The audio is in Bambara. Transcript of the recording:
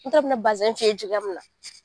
N ta n bi na fi ye cogoya min na.